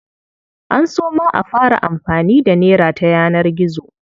An so ma a fara amfani da nera ta yanar gizo.